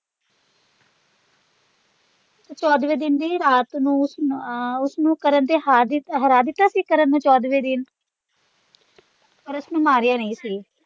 ਚੌਦਵੇਂ ਦਿਨ ਦੀ ਰਾਤ ਨੂੰ ਉਸਨੂੰ ਅਹ ਉਸਨੂੰ ਕਰਨ ਤੇ ਹਾਰ ਹਰਾ ਦਿਤਾ ਸੀ ਕਰਨ ਨੂੰ ਚੌਦਵੇਂ ਦਿਨ ਪਾਰ ਉਸਨੂੰ ਮਾਰਿਆ ਨਹੀਂ ਸੀ।